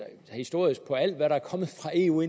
historisk på alt hvad der er kommet fra eu